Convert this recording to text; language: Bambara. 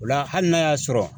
O la hali n'a y'a sɔrɔ